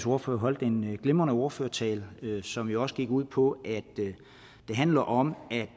ordfører holdt en glimrende ordførertale som jo også gik ud på at det handler om at